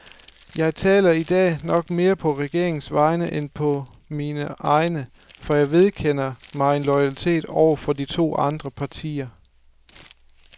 Jeg taler i dag nok mere på regeringens vegne end på mine egne, for jeg vedkender mig en loyalitet over for de to andre partier.